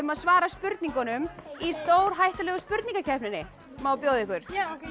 að svara spurningunum í stórhættulegu spurningakeppninni má bjóða ykkur